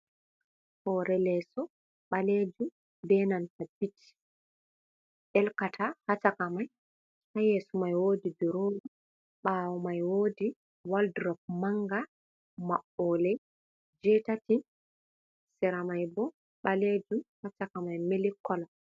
Hore leso balejum benanta pich elkata ha chakamai. Ha yeso mai wodi durowa ɓawo mai wodi woldrop manga maɓɓole jeitati. Sera mai bo ɓalejum ha chakamai milik kala.